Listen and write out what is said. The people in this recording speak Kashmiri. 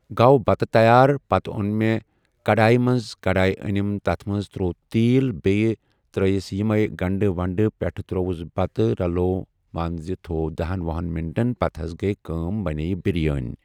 گوٚو بتہٕ تَیار پَتہٕ اون مےٚ کڈاے منٛز کڈاے أنِم تَتھ منٛز تروٚو تیٖل بیٚیہِ ترٲیِس یِمَے گنٛڈٕ ونٛڈٕ پٮ۪ٹھٕ ترووُس بَتہٕ رَلوو مان ژٕ تھوو دہَن وُہن مِنٛٹن پَتہٕ حض گٔے کٲم بنے یہِ بریٲنی۔